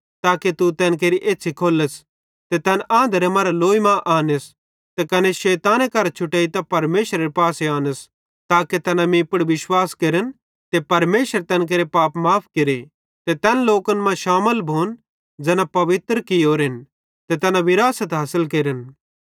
ताके तू तैन केरि एछ़्छ़ी खोल्लस ते तैन आंधरे मरां लौई मां आनस ते कने शैताने करां छुटेइतां परमेशरेरे पासे आनस ताके तैना मीं पुड़ विश्वास केरन ते परमेशर तैन केरे पाप माफ़ केरे ते तैन लोकन मां शामिल भोन ज़ैना पवित्र कियोरेन तैना विरासत हासिल केरन